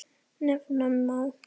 Nefna má